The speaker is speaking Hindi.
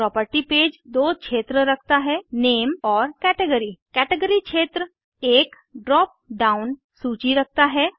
प्रॉपर्टी पेज दो क्षेत्र रखता है नेम और कैटेगरी कैटेगरी क्षेत्र एक ड्राप डाउन सूची रखता है